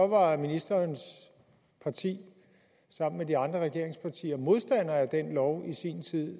var ministerens parti sammen med de andre regeringspartier modstander af den lov i sin tid og